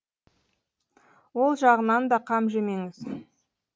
ол жағынан да қам жемеңіз